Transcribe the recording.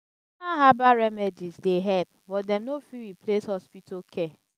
herbbal remedies dey help but dem no fit replace hospital care.